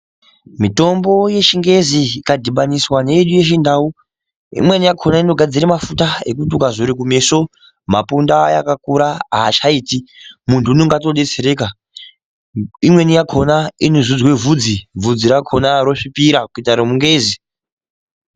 Mitombo yeChiNgezi zvikadhibaniswa neyedu yeChiNdau, imweni yakona inogadzire mafuta ekuti ukazore kumeso mapundu aya akakura haachaiti. Muntu unenga atodetsereka. Imweni yakona inozodzwe vhudzi, bvudzi rakona rosvipira kuita remuNgezi.